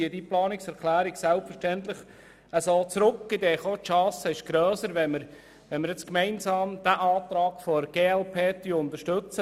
Deshalb ziehe ich die Planungserklärung zurück, denn die Chance ist grösser, wenn wir gemeinsam den Antrag der glp unterstützen.